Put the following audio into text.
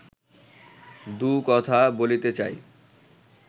দু’কথা বলিতে চাই